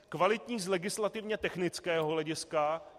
Kvalitní z legislativně technického hlediska.